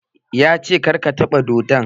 Ya ce "Kar ka taɓa dodon"!